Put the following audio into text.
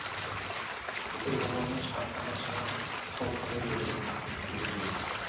бүкіл ғұмырының шарықтаған шыңы сол қызыл жебеге тақымы тиген кез